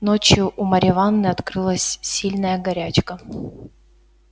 ночью у марьи ивановны открылась сильная горячка